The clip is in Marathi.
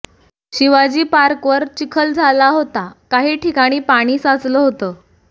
शिवाजी पार्कवर चिखल झाला होता काही ठिकाणी पाणी साचलं होतं